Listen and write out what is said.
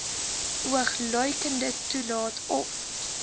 oogluikend toelaat of